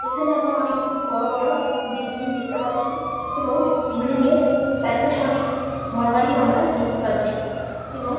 এখানে আমরা অনেক গুলি বড়ো বড়ো বিল্ডিং দেখতে পাচ্ছি এবং বিল্ডিং এর চারিপাশে অনেক ঘর বাড়িও আমরা দেখতে পাচ্ছি এবং।